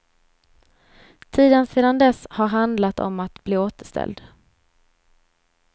Tiden sedan dess har handlat om att bli återställd.